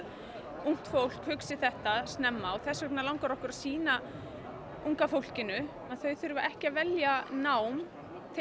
ungt fólk hugsi þetta snemma og þess vegna langar okkur að sýna unga fólkinu að þau þurfa ekki að velja nám tengt